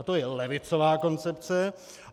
A to je levicová koncepce.